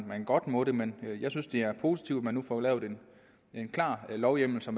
man godt måtte men jeg synes det er positivt at man nu får lavet en klar lovhjemmel så